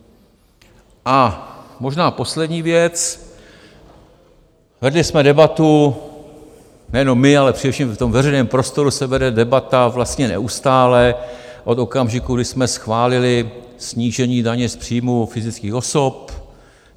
A možná poslední věc - vedli jsme debatu, nejenom my, ale především v tom veřejném prostoru se vede debata vlastně neustále, od okamžiku, kdy jsme schválili snížení daně z příjmů fyzických osob.